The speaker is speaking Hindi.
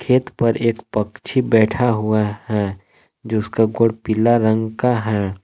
खेत पर एक पक्षी बैठा हुआ है जिसका गोड़ पीला रंग का है।